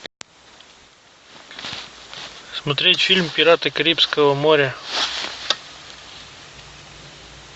смотреть фильм пираты карибского моря